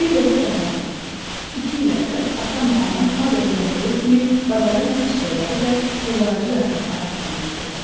Bir dəfə baharda, iki il əvvəl atamla anam adətən olduğu kimi bazara yaz çiçəkləri və toz ağacı yarpaqları aparmışdılar.